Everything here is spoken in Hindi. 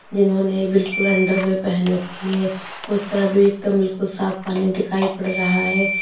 जिन्होंने बिल्कुल अंडरवियर पहन रखी है उस तरफ भी एकदम बिल्कुल साफ पानी दिखाई पड़ रहा है।